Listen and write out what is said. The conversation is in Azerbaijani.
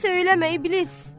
Söyləmə, iblis!